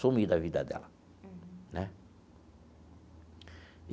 Sumi da vida dela, né?